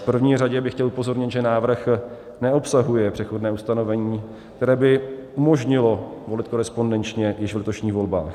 V první řadě bych chtěl upozornit, že návrh neobsahuje přechodné ustanovení, které by umožnilo volit korespondenčně již v letošních volbách.